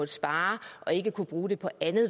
spare og ikke kunnet bruge det på anden